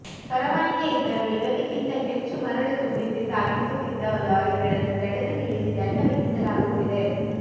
ಪರವಾನಗಿ ಇದ್ದರೂ ನಿಗದಿಗಿಂತ ಹೆಚ್ಚು ಮರಳು ತುಂಬಿಸಿ ಸಾಗಿಸುತ್ತಿದ್ದ ಲಾರಿಗಳನ್ನು ತಡೆದು ನಿಲ್ಲಿಸಿ ದಂಡ ವಿಧಿಸಲಾಗುತ್ತಿದೆ